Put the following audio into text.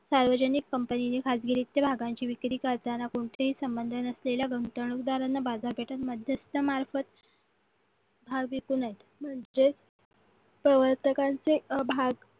सार्वजनिक कंपनीने खाजगी रिक्त भागांची विक्री करताना कोणतेही संबंध नसलेल्या उदाहरणार्थ बाजारपेठा मध्यस्थ मार्फत भाग विकू नये जे प्रवासकांचे भाग